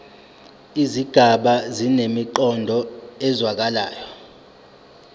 izigaba zinemiqondo ezwakalayo